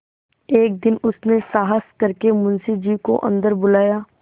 एक दिन उसने साहस करके मुंशी जी को अन्दर बुलाया